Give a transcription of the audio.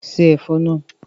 Ṣé Ẹ̀fọ́ náà!